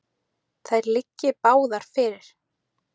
Þær liggi báðar fyrir.